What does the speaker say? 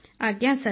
ଆଜ୍ଞା ସାର୍